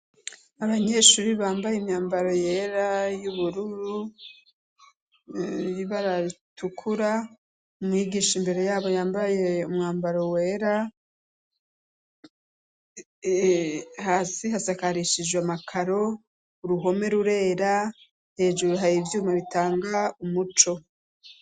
abanyeshuri bambaye imyambaro yera y'ubururu baratukura mwigisha imbere yabo yambaye umwambaro wera hasi hasakarishijwe amakaro uruhome rurera hejuru haye ivyuma bitanga umuco